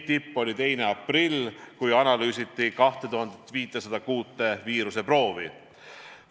Tipp oli 2. aprillil, kui analüüsiti 2506 viiruseproovi.